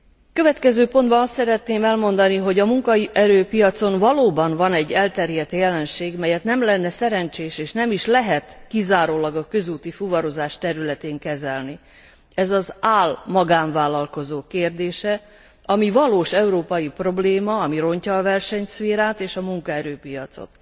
A következő pontban azt szeretném elmondani, hogy a munkaerőpiacon valóban van egy elterjedt jelenség, melyet nem lenne szerencsés és nem is lehet kizárólag a közúti fuvarozás területén kezelni, ez az ál magánvállalkozók kérdése, ami valós európai probléma, ami rontja a versenyszférát és a munkaerőpiacot.